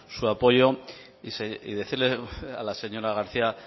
su apoyo y decirle a la señora garcía